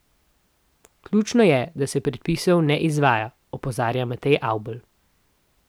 Ključno je, da se predpisov ne izvaja, opozarja Matej Avbelj.